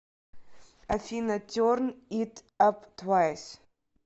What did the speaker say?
афина терн ит ап твайс